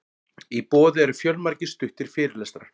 í boði eru fjölmargir stuttir fyrirlestrar